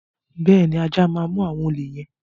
Bẹ́ẹ̀ ni, ajá máa mú àwọn olè yẹn.